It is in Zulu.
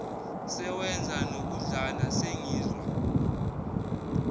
sewenza nokudlana sengizwa